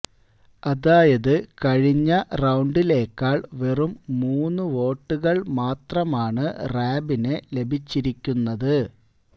അതായത് കഴിഞ്ഞ റൌണ്ടിലേക്കാൾ വെറും മൂന്ന് വോട്ടുകൾ മാത്രമാണ് റാബിന് ലഭിച്ചിരിക്കുന്നത്